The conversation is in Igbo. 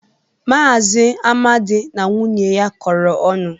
Maazị Amadi na nwunye ya kọrọ ọnụ.